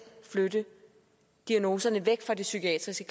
flytte diagnoserne væk det psykiatriske